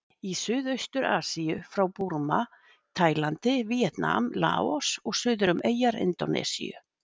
Í Suðaustur-Asíu frá Búrma, Tælandi, Víetnam, Laos og suður um eyjar Indónesíu.